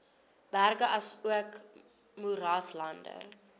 berge asook moeraslande